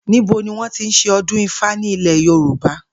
Níbo ni wó̩n tí ń s̩e o̩dún ifá ní ilè̩ Yorùbá?